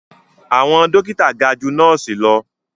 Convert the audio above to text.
Àwọn dókítà ga ju nọ́ọ̀sì lọ